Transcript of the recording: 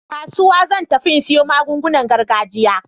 Kasuwa zan tafi in siyo magungunan gargajiya.